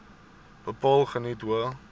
bepaal geniet hoë